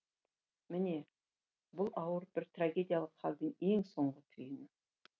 міне бұл ауыр бір трагедиялық халдің ең соңғы түйіні